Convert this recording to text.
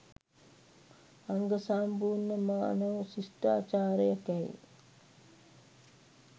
අංගසම්පූර්ණ මානව ශිෂ්ටාචාරයකැයි